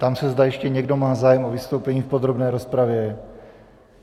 Ptám se, zda ještě někdo má zájem o vystoupení v podrobné rozpravě.